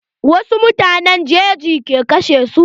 Wasu mutanen jeji ke kashe su.